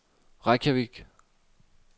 Reykjavik